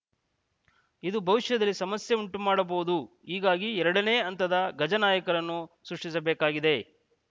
ಇದು ಭವಿಷ್ಯದಲ್ಲಿ ಸಮಸ್ಯೆ ಉಂಟು ಮಾಡಬಹುದು ಹೀಗಾಗಿ ಎರಡನೇ ಹಂತದ ಗಜ ನಾಯಕರನ್ನು ಸೃಷ್ಟಿಸಬೇಕಾಗಿದೆ